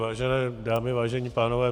Vážené dámy, vážení pánové.